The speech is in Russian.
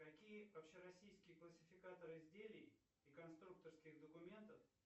какие общероссийские классификаторы изделий и конструкторских документов